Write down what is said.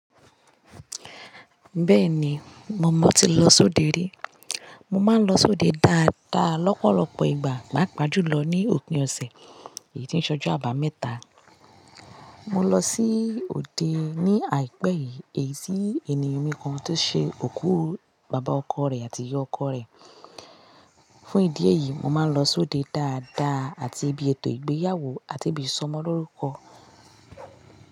Bẹ́ẹ̀ni, mo mọ ti lọ sóde rí. Mo máa ń lọ sóde dáadáa lọ́pọ̀lọpọ̀ ìgbà, pàápàá jùlo ní òpin ọ̀sẹ̀. Èyí tin ṣọ́jo àbámẹ́ta. Mo lọ sí òde ní àìpẹ́ yìí, èyí tí ènìyàn mi kan tó ṣe òkú bàbá ọkọ rẹ̀ àti ìyá ọkọ rẹ̀. Fún ìdí èyí, mo máa ń lọ sóde dáadáa àti ibi ètò ìgbéyàwó àti ibi ìsọmọlórúkọ.